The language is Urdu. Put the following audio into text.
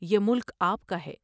یہ ملک آپ کا ہے ۔